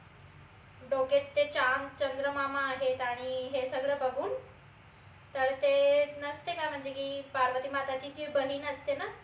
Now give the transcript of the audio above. डोक्यात ते चाम चंद्र मामा आहेत आणि हे सगळं बघून तर ते नसते का म्हनजे की पार्वती माताची जी बहीन असते न